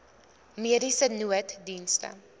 mediese nooddienste